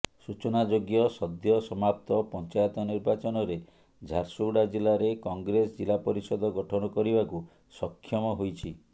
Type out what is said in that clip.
ସୂଚନାଯୋଗ୍ୟ ସଦ୍ୟସମାପ୍ତ ପଞ୍ଚାୟତ ନିର୍ବାଚନରେ ଝାରସୁଗୁଡା ଜିଲ୍ଲାରେ କଂଗ୍ରେସ ଜିଲ୍ଲାପରିଷଦ ଗଠନ କରିବାକୁ ସକ୍ଷମ ହୋଇଛି